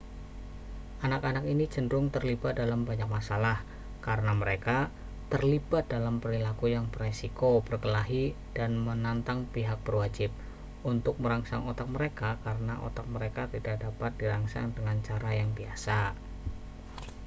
anak-anak ini cenderung terlibat dalam banyak masalah karena mereka terlibat dalam perilaku yang berisiko berkelahi dan menantang pihak berwajib untuk merangsang otak mereka karena otak mereka tidak dapat dirangsang dengan cara yang biasa